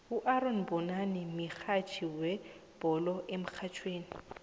uaaron mbonani mihatjhi wezebhole emrhatjhweni